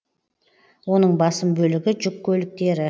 оның басым бөлігі жүк көліктері